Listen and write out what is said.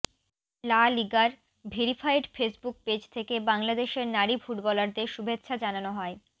লা লিগার verified Facebook page থেকে বাংলাদেশের নারী ফুটবলারদের শুভেচ্ছা জানানো হয়